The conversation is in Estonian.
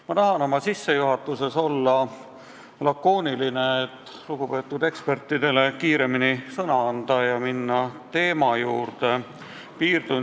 Ma tahan oma sissejuhatuses olla lakooniline, et lugupeetud ekspertidele kiiremini sõna anda ja teema juurde minna.